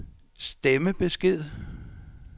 stemmebesked